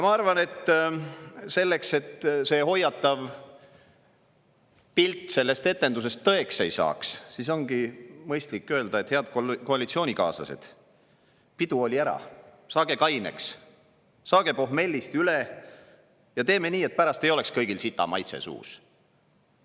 " Ma arvan, et selleks, et see hoiatav pilt sellest etendusest tõeks ei saaks, ongi mõistlik öelda, et head koalitsioonikaaslased, pidu oli ära, saage kaineks, saage pohmellist üle ja teeme nii, et pärast ei oleks kõigil sitamaitse suus!